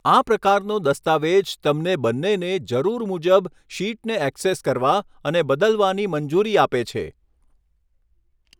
આ પ્રકારનો દસ્તાવેજ તમને બંનેને જરૂર મુજબ શીટને ઍક્સેસ કરવા અને બદલવાની મંજૂરી આપે છે.